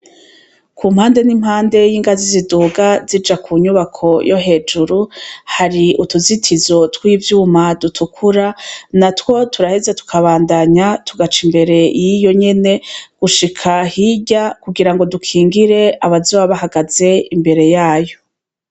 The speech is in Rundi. Ku mpande n' impande y' ingazi ziduga zija ku nyubako yo hejuru, hari utuzitizo tw' ivyuma dutukura, natwo turaheza tukabandanya tugaca imbere yiyo nyene, gushika hirya kugirango dukingire abazoba bahagaze imbere yayo.